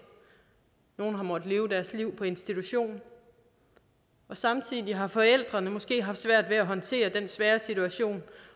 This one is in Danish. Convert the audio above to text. nogle har måttet leve deres liv på institution og samtidig har forældrene måske haft svært ved at håndtere den svære situation